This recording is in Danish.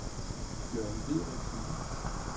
Jørn Dideriksen